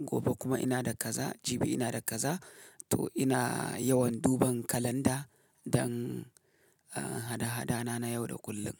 gobe kuma ina da kaza, jibi ina da kaza. To ina yawan duban kalanda dan hada-hadana na yau da kullum.